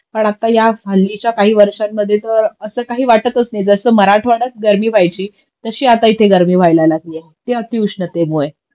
कारण आताच हल्लीच्या काही वर्षामध्ये तर असं काही वाटतच नाही जस मराठवाड्यात गर्मी व्हायची तशी आता इथे गर्मी व्हाल लागलीये ती अतिउष्णतेमुळे